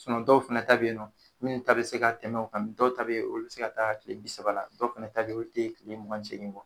dɔw fana ta bɛ yen na minnu ta bɛ se ka tɛmɛ o kan dɔw ta bi yen olu bɛ se ka taa tile bi saba la , dɔw fana ta bɛ yen o tɛ tile mugan ni seegin